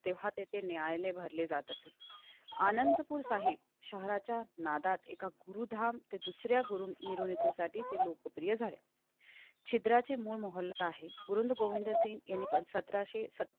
तेव्हा तेथे न्यायला भरले जाते. अनंतपुर आहे. शहराच्या नादात एका गुरुधाम ते मिळविण्यासाठी ते लोकप्रिय झाले. चित्राचे मूळ मोहल्ला हे गुरु गोविंद सिंह यांनी पण सतराशे.